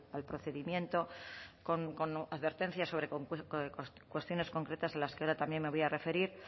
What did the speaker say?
al procedimiento con advertencias sobre cuestiones concretas a las que ahora también me voy a referir